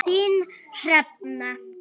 Þín, Hrefna.